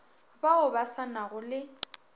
bao ba sa nago le